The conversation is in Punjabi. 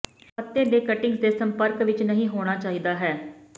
ਪੱਤੇ ਦੇ ਕਟਿੰਗਜ਼ ਦੇ ਸੰਪਰਕ ਵਿੱਚ ਨਹੀ ਹੋਣਾ ਚਾਹੀਦਾ ਹੈ